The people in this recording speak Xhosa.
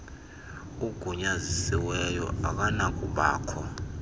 ugunyazisiweyo akanakuba kho